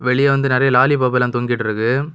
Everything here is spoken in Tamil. வெளிய வந்து நெறைய லாலிபப்லா தொங்கிட்டுருக்கு.